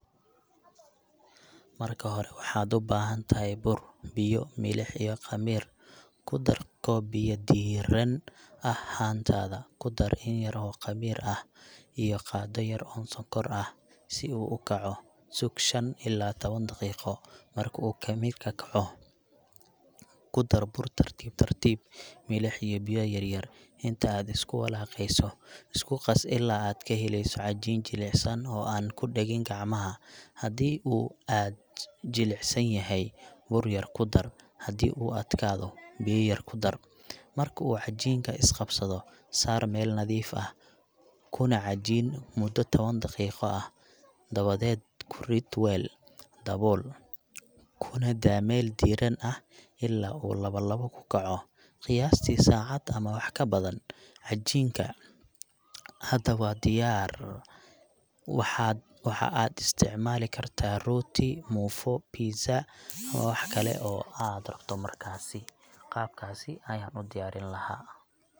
Marka hore, waxaad u baahan tahay bur, biyo, milix, iyo khamiir . Ku dar koob biyo diirran ah haantaada, ku dar yar oo khamiir ah iyo qaaddo yar oo sonkor ah si uu u kaco. Sug shan ilaa tawan daqiiqo. Marka uu khamiirku kaco, ku dar bur tartiib tartiib, milix, iyo biyo yar yar inta aad isku walaaqayso. Isku qas ilaa aad ka helayso cajiin jilicsan oo aan ku dhegin gacmaha. Haddii uu aad u jilicsan yahay, bur yar ku dar; haddii uu adkaado, biyo yar ku dar. Marka uu cajiinka is qabsado, saar meel nadiif ah kuna cajiin muddo tawan daqiiqo ah. Dabadeed ku rid weel, dabool, kuna daa meel diirran ah ilaa uu laba laab ka kaco — qiyaastii saacad ama wax ka badan. Cajiinka hadda waa diyaar waxaad Waxa aad u isticmaali kartaa rooti, muufo, pizza ama wax kale oo aad rabto. qaab kaasi ayaan u diyaarin lahaa .